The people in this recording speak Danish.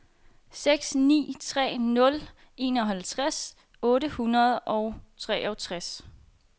seks ni tre nul enoghalvtreds otte hundrede og treogtres